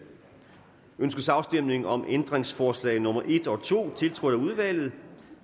ønskes afstemning om ændringsforslag nummer en og to tiltrådt af udvalget